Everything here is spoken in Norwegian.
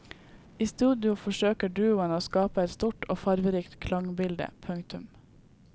I studio forsøker duoen å skape et stort og farverikt klangbilde. punktum